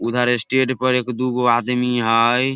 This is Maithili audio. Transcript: उधर स्टेज पर एक दू गो आदमी हेय।